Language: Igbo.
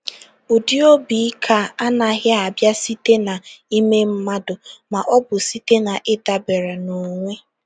Ụdị obi ike a anaghị abịa site n’ime mmadụ ma ọ bụ site n’ịdabere n’onwe.